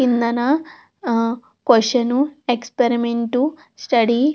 కిందన question experiment study తీరి అని--